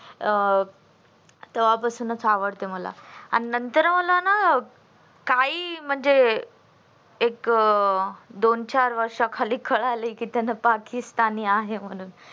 अं तेव्हापासूनच आवडतो मला आणि नंतर मला ना काही म्हणजे एक दोन चार वर्षा खाली कळाल की त्यानं पाकिस्तानी आहे म्हणून